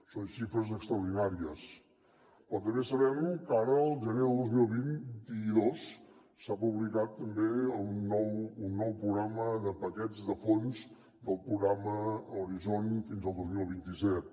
són xifres extraordinàries però també sabem que ara al gener del dos mil vint dos s’ha publicat també un nou programa de paquets de fons del programa horizon fins al dos mil vint set